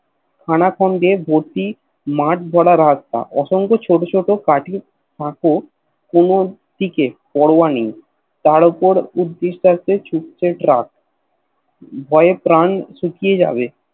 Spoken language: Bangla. খান খন্ডে মাঠ ভরা রাস্তা অশঙ্ক ছোট ছোট কাঠির কাকর কোন দিকে পরোয়া নেই তার উপর উর্ধশসে ছুটছে ট্রাক ভয়ে প্রাণ শুকিয়ে যাবে